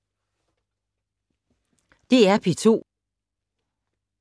DR P2